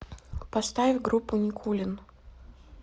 поставь группу никулин